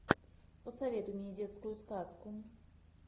посоветуй мне детскую сказку